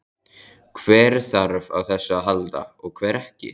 Hver þarf á þessu að halda og hver ekki?